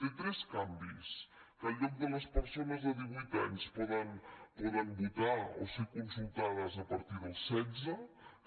té tres canvis que en lloc de les persones de divuit anys poden votar o ser consultades a partir dels setze